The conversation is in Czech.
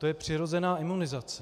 To je přirozená imunizace.